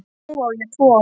Nú á ég tvo